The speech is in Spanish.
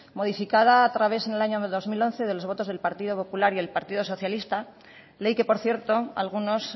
modificada a través en el año dos mil once de los votos del partido popular y partido socialista ley que por cierto algunos